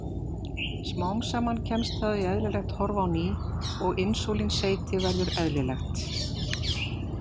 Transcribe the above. Smám saman kemst það í eðlilegt horf á ný og insúlínseyti verður eðlilegt.